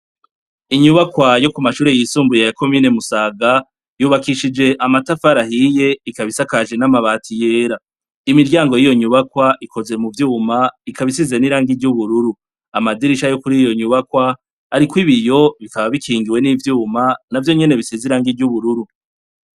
Inyubakwa yokumashure yisumbuye ya komine musaga yubakishije amatafari ahiye ikaba isakaje namabati yera imiryango yiyonyubakwa ikoze muvyuma ikabisize nirangi ryubururu amadirisha yokuri iyonyubakwa ariko ibiyo bikaba bikingiwe nivyuma navyonyene bisize irangi ryubururu